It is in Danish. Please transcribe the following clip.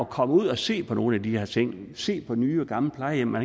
komme ud og se på nogle af de her ting se på nye og gamle plejehjem og